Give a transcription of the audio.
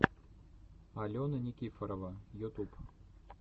алена никифорова ютуб